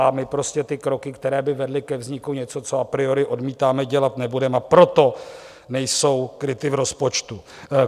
A my prostě ty kroky, které by vedly ke vzniku něčeho, co a priori odmítáme, dělat nebudeme, a proto nejsou kryty v rozpočtu.